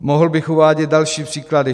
Mohl bych uvádět další příklady.